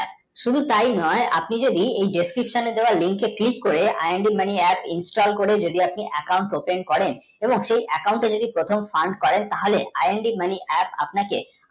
শুধু তাই নয় আপনি যদি এই description দেয়া link কে click করে i nd mani apps nstall করে যদি আপনি account করেন এবং সেই account তে যদি প্রথম করেন তাহলে i nd mani apps আপনাকে